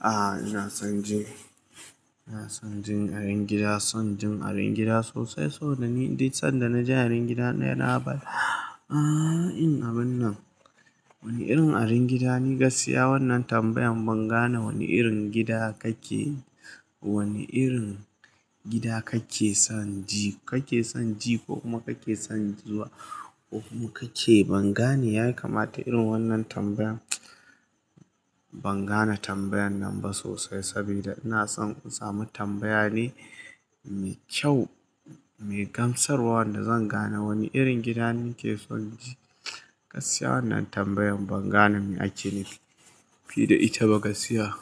Ah ina son jin, ina son jin arin gida. Son jin arin gida sosai, saboda ni sanda naji arin gida na yana haba. Ha in abinnan wani irin arin gida ni gaskiya wannan tambayan bangane wani irin gida kake, wani irin gida kake son ji, kake son ji ko kuma kake son zuwa ko kuma kake ban gane. Ya kamata irin wannan tambayan ban gane tambayan nan ba sosai sabida ina son in sami tambaya ne mai kyau, mai gamsarwa wanda zan gane wani irin gida nake son ji. Gaskiya wannan tambayan ban gane me ake nufi da ita ba gaskiya.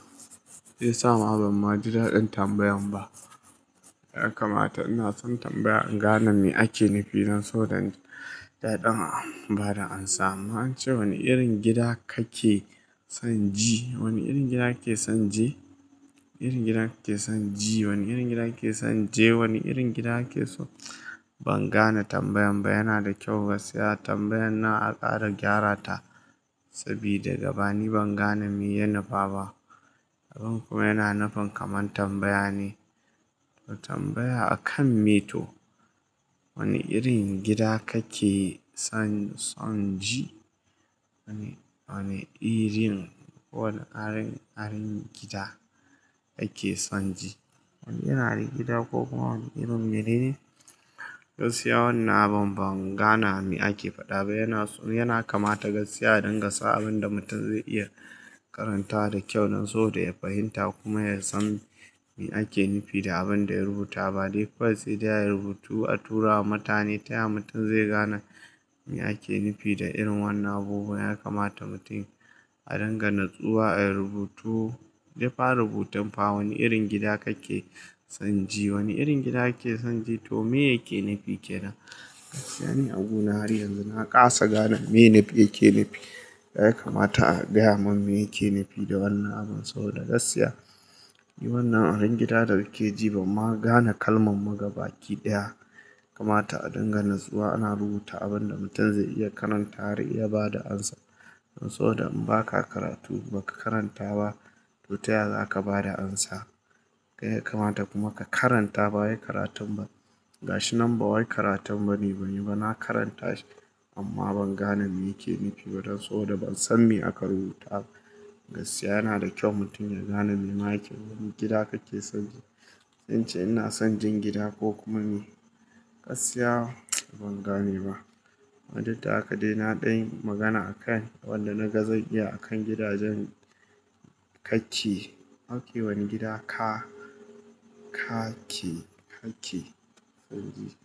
Sai yasa ma ban ma ji daɗin tambayan ba. Ya kamata ina son tambaya inga na me ake nufi don so da ɗaɗin ba da amsa. Wani irin gida kake son ji? Wani irin gida ake son ji? Irin gida ake son ji, wani irin gida ake son je. Wani irin gida ake so ban gane tambayan ba. Yana da kyau gaskiya tambayan na a ƙara gyara ta, sabida da bani bangane me ya nufa ba. Abin kuma yana nufin kaman tambaya ne, tambaya akan me to. Wani irin gida kake son, son ji? Wani irin ko wane arin, arin gida ake son ji? Wani yana gida ko kuma wani irin menene? Gaskiya wannan abin ban gane me ake faɗa ba. Yana, yana kamata gaskiya a dinga sa abin da mutum zai iya karanta da kyau don so da ya fahimta kuma ya san me ake nufi da abin da ya rubuta. Ba dai kawai sai dai ayi rubutu a tura wa mutane, ta yaya mutum zai gane me ake nufi da irin wannan abubuwa? Ya kamata mutum a dinga natsuwa, a rubutu. Jefa rubutan fa wani irin gida kake son ji, wani irin gida ake son ji toh me yake nufi kenan? Gaskiya ne a guna har yanzu na ƙasa gane me nefi yake nufi. Yaya kamata a gaya mun me yake nufi da wannan abin? Saboda gaskiya, ni wannan arin gida da kake ji, ban ma gane kalman ma gabaki ɗaya. Kamata a dinga natsuwa ana rubuta abinda mutum zai iya karanta har ya bada amsa. Don so da in baka karatu baka karanta ba, toh ta yaya za ka bada amsa? Ya kamata kuma ka karanta ba wai karatun ba. Gashi nan ba wai karatu bane, bane ba na karanta shi amma ban gane me yake nufi ba don so da ban san me aka rubuta ba. Gaskiya yana da kyau mutum ya gane me ma yake, wani gida kake son ji. In ce ina son jin gida ko kuma me? Gaskiya ban gane ba. Duk da haka dai na ɗanyi magana akai wanda na ga zan iya akan gidajen kake. Wane gida ka, ka ke, ka ke son ji?